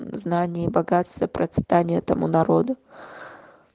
знание богатство процветание тому народу